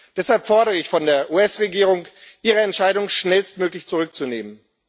Deshalb fordere ich von der US Regierung, ihre Entscheidung schnellstmöglich zurückzunehmen.